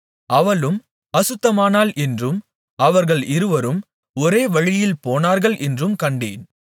அவளும் அசுத்தமானாள் என்றும் அவர்கள் இருவரும் ஒரே வழியில் போனார்கள் என்றும் கண்டேன்